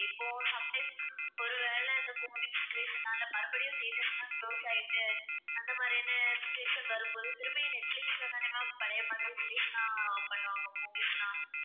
இப்போ sometimes ஒருவேளை இந்தக் கோவிட் situation னால, மறுபடியும் theatres எல்லாம் close ஆயிடுச்சு. அந்த மாதிரியான situation வரும்போது திரும்பவும் நெட்பிலிஸ்லதான ma'am பழைய மாதிரி release எல்லாம் பண்ணுவாங்க movies எல்லாம்.